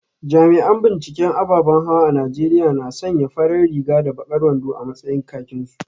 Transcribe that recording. Jami’an binciken ababan hawa a Najeriya na sanya farar riga da bakar wando a matsayin kakinsu